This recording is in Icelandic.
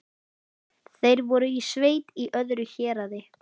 Þeir voru í sveit í öðru héraði.